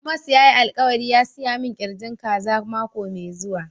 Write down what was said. Amos ya yi alkawali ya siya min kirjin kaza mako me zuwa.